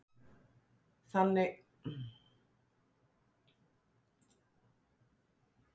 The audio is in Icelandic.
Kristján: Þannig að þú verður áfram á sjónum?